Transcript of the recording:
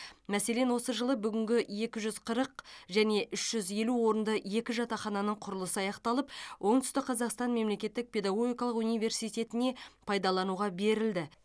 мәселен осы жылы бүгінгі екі жүз қырық және үш жүз елу орынды екі жатақхананың құрылысы аяқталып оңтүстік қазақстан мемлекеттік педагогикалық университетіне пайдалануға берілді